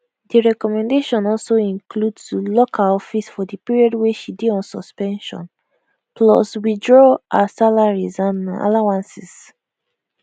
di recommendation also include to lock her office for di period wey she dey on suspension plus withdraw her salaries and allowances